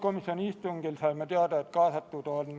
Palun võtta seisukoht ja hääletada!